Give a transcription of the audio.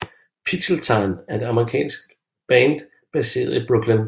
Pixeltan er et amerikansk band baseret i Brooklyn